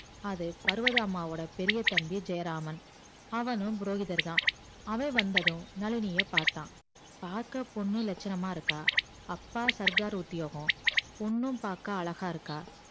அது பருவதாம்மாவோட பெரிய தம்பி ஜெயராமான் அவனும் போகிரர்தா அவன் வந்ததும் நழினிய பாத்தா பக்க பொண்ணு லட்ச்சனம்மா இருக்கா அப்பா சர்கார் உத்யோகம் பொண்ணு பாக்க அழகா இருக்கா